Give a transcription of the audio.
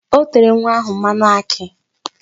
O tere nwa ahụ mmanụ akị.